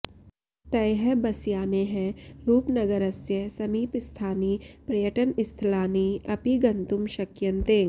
तैः बसयानैः रूपनगरस्य समीपस्थानि पर्यटनस्थलानि अपि गन्तुं शक्यन्ते